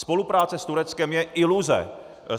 Spolupráce s Tureckem je iluze.